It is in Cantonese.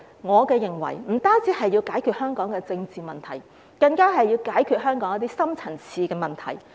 我認為不只是要解決香港的政治問題，更要解決香港一些深層次問題。